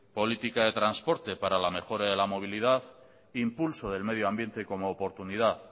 política de transporte para la mejora de la movilidad impulso del medio ambiente como oportunidad